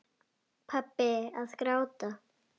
Pabbi að gráta!